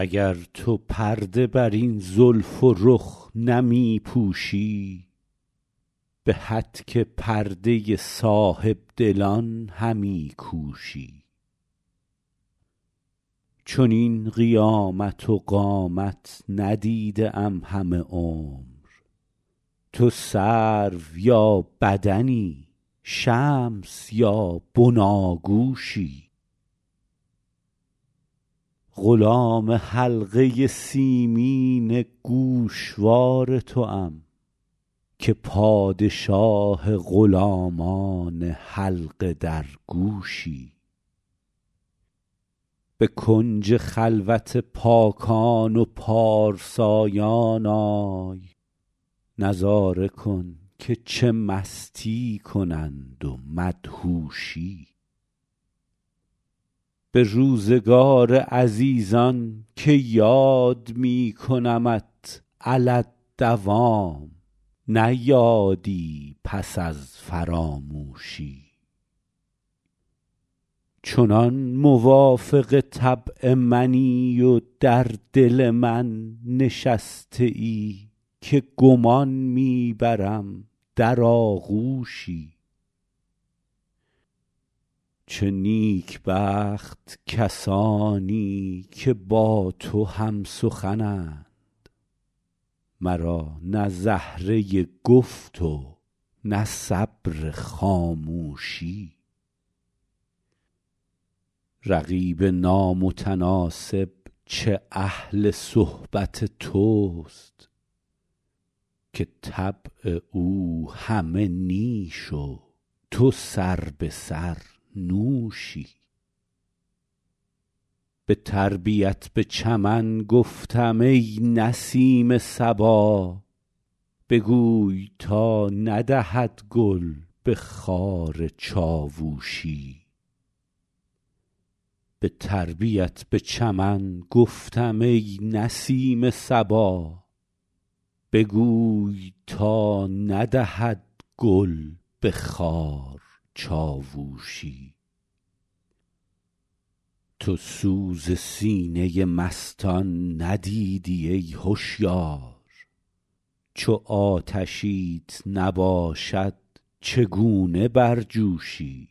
اگر تو پرده بر این زلف و رخ نمی پوشی به هتک پرده صاحب دلان همی کوشی چنین قیامت و قامت ندیده ام همه عمر تو سرو یا بدنی شمس یا بناگوشی غلام حلقه سیمین گوشوار توام که پادشاه غلامان حلقه درگوشی به کنج خلوت پاکان و پارسایان آی نظاره کن که چه مستی کنند و مدهوشی به روزگار عزیزان که یاد می کنمت علی الدوام نه یادی پس از فراموشی چنان موافق طبع منی و در دل من نشسته ای که گمان می برم در آغوشی چه نیکبخت کسانی که با تو هم سخنند مرا نه زهره گفت و نه صبر خاموشی رقیب نامتناسب چه اهل صحبت توست که طبع او همه نیش و تو سربه سر نوشی به تربیت به چمن گفتم ای نسیم صبا بگوی تا ندهد گل به خار چاووشی تو سوز سینه مستان ندیدی ای هشیار چو آتشیت نباشد چگونه برجوشی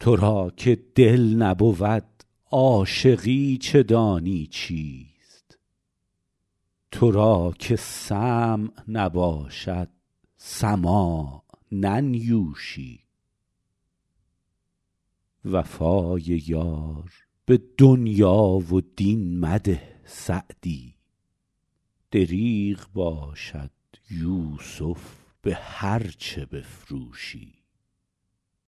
تو را که دل نبود عاشقی چه دانی چیست تو را که سمع نباشد سماع ننیوشی وفای یار به دنیا و دین مده سعدی دریغ باشد یوسف به هرچه بفروشی